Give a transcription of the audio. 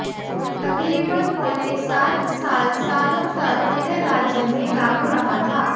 तकरीबन पौने सात साल सालों तक यह राज्य मंे लागू रहा था